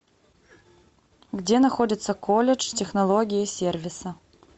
где находится колледж технологии и сервиса